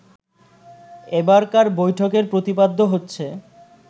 এবারকার বৈঠকের প্রতিপাদ্য হচ্ছে